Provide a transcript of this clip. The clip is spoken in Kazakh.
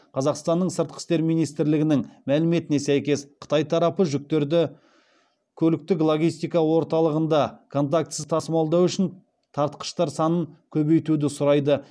қазақстанның сыртқы істер министрлігінің мәліметіне сәйкес қытай тарапы жүктерді көліктік логистика орталығында контактісіз тасымалдау үшін тартқыштар санын көбейтуді сұрайды